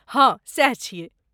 हँ , सैह छियै।